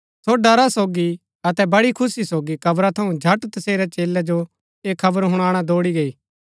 सो ड़रा सोगी अतै बड़ी खुशी सोगी कब्रा थऊँ झट तसेरै चेलै जो ऐह खबर हुणाणा दौड़ी गई